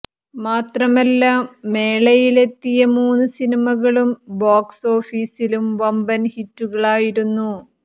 മാത്രമല്ല മേളയിലെത്തിയ മൂന്നു സിനിമകളും ബോക്സ് ഓഫിസിലും വമ്പൻ ഹിറ്റുകളായിരുന്നു